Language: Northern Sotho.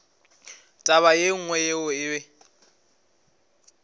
taba ye nngwe yeo e